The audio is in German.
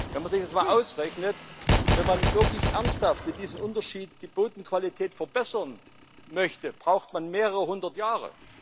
Wenn man sich das einmal ausrechnet Wenn man wirklich ernsthaft mit diesem Unterschied die Bodenqualität verbessern möchte, braucht man mehrere hundert Jahre.